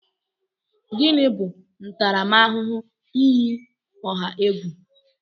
Gịnị bụ ntaramahụhụ iyi ọha egwu?